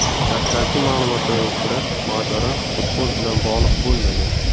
Dastlabki ma’lumotlarga ko‘ra, mojaro futbol bilan bog‘liq bo‘lmagan.